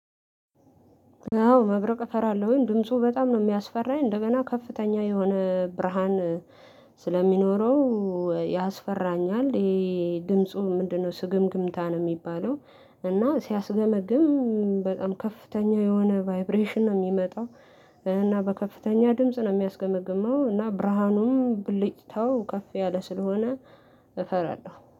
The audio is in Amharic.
አዎ መብረቅ እፈራለሁኝ ድምፁ በጣም ነው የሚያስፈራኝ እንደገና ከፍተኛ የሆነ ብርሃን ስለሚኖረው ያስፈራኛል። ይሄ ድምፁ ምንድነው ስግምግምታ ነው የሚባለው? እና ሲያስገመግም በጣም ከፍተኛ የሆነ ቫይብሬሽን ነው የሚመጣው። እና በከፍተኛ ድምጽ ነው የሚያስገመግመው እና ብርሃኑም ብልጭታው ከፍ ያለ ስለሆነ እፈራለሁ